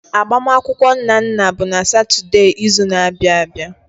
Agbamakwụkwọ Nnanna bụ n'Satọde izu na-abịa abịa.